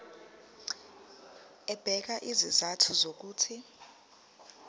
ebeka izizathu zokuthi